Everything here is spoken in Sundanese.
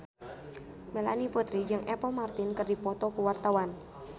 Melanie Putri jeung Apple Martin keur dipoto ku wartawan